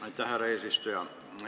Aitäh, härra eesistuja!